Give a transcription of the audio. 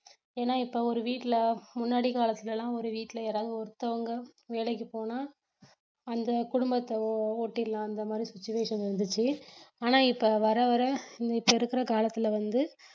ஏன்னா இப்ப ஒரு வீட்டுல முன்னாடி காலத்துலலாம் ஒரு வீட்டுல யாராவது ஒருத்தவங்க வேலைக்கு போனா அந்த குடும்பத்த ஓட்டிரலாம் அந்த மாதிரி situation இருந்துச்சு ஆனா இப்ப வர வர இப்ப இருக்கிற காலத்துல வந்து